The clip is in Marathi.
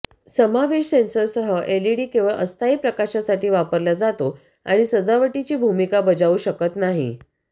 समावेश सेन्सरसह एलईडी केवळ अस्थायी प्रकाशासाठी वापरला जातो आणि सजावटीची भूमिका बजावू शकत नाही